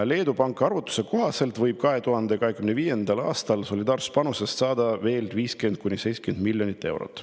Leedu Panga arvutuste kohaselt võib 2025. aastal solidaarsuspanusest saada veel 50–70 miljonit eurot.